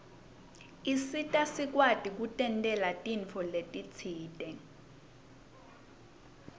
isita sikwati kutentela tintfo letisite